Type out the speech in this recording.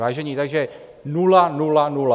Vážení, takže nula, nula, nula.